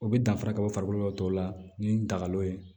O bɛ danfara kɛ o farikolo yɔrɔ tɔw la ni dagalon ye